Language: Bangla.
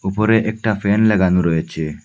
উপরে একটা ফ্যান লাগানো রয়েচে।